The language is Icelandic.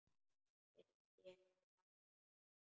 Finnst ég heyra hana.